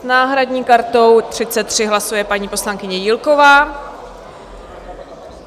S náhradní kartou 33 hlasuje paní poslankyně Jílková.